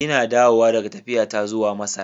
Ina dawowa daga tafiyata zuwa Masar.